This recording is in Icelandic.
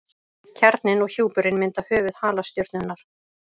Kjarninn og hjúpurinn mynda höfuð halastjörnunnar.